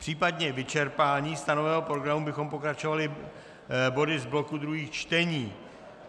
Případně vyčerpáním stanoveného programu bychom pokračovali body z bloku druhých čtení.